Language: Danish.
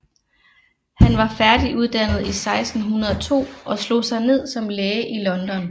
Han var færdiguddannet i 1602 og slog sig ned som læge i London